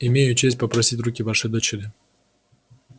имею честь попросить руки вашей дочери